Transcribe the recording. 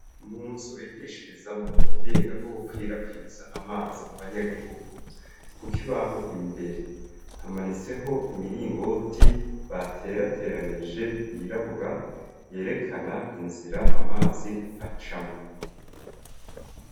Munzu bigishirizamo ubuhinga bwo gukwirakwiza amazi mu banyagihugu, kukibaho imbere hamanitseho imiringoti baterateranije yirabura yerekana inzira amazi acamwo